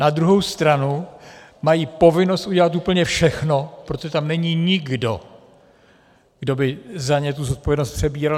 Na druhou stranu mají povinnost udělat úplně všechno, protože tam není nikdo, kdo by za ně tu zodpovědnost přebíral.